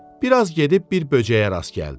Bir az gedib bir böcəyə rast gəldi.